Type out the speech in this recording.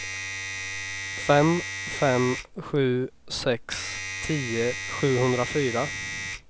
fem fem sju sex tio sjuhundrafyra